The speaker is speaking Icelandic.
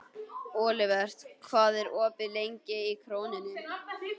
Olivert, hvað er opið lengi í Krónunni?